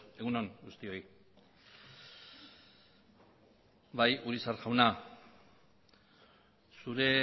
egun on guztioi bai urizar jauna zure